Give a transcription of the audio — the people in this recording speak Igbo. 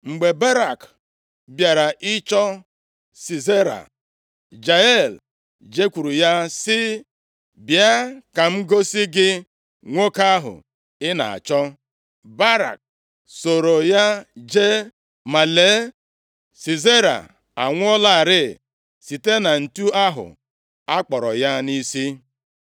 Mgbe Barak bịara ịchọ Sisera, Jael jekwuru ya sị, “Bịa ka m gosi gị nwoke ahụ ị na-achọ.” Barak sooro ya jee, ma lee, Sisera anwụọlarị site na ǹtu ahụ a kpọrọ ya nʼisi.